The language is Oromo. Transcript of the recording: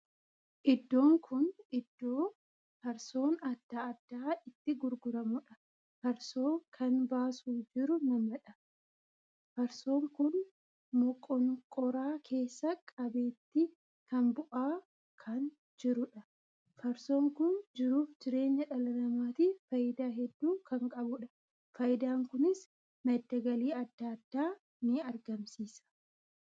Iddoon kun iddoo farsoon addaa addaa itti gurguramudha. farsoo kan baasuu jiru namadha. farsoon kun moqoonqoraa keessa qabeetti kan bu'aa kan jiruudha. farsoon kun jiruuf jireenya dhala namaatiif faayidaa hedduu kan qabuudha. faayidaan kunis madda galii addaa addaa nii argamsiisa.